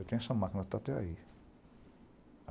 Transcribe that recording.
Eu tenho essa máquina, está até aí.